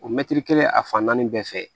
O mɛtiri kelen a fan naani bɛɛ fɛ